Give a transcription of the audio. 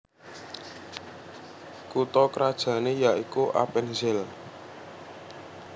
Kutha krajané yaikuAppenzell